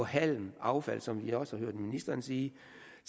halm affald som vi også har hørt ministeren sige